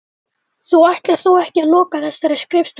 Þú ætlar þó ekki að loka þessari skrifstofu?